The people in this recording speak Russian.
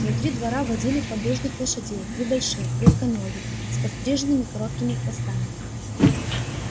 внутри двора водили поддужных лошадей небольших крепконогих с подстриженными короткими хвостами